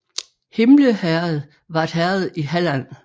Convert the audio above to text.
Himle Herred var et herred i Halland